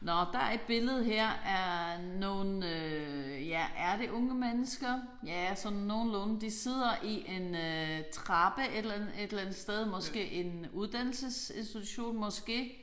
Nåh der er et billede her af nogle ja er det unge mennesker ja sådan nogenlunde. De sidder i en øh trappe et eller andet et eller andet sted måske en uddannelsesinstitution måske